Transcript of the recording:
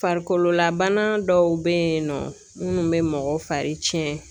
Farikololabana dɔw be yen nɔ ,munnu be mɔgɔ fari cɛn.